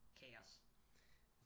Kaos